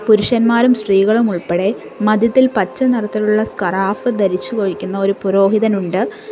പുരുഷന്മാരും സ്ത്രീകളും ഉൾപ്പെടെ മധ്യത്തിൽ പച്ച നിറത്തിലുള്ള സ്ക്രാഫ് ധരിച്ചു വഹിക്കുന്ന ഒരു പുരോഹിതനുണ്ട്.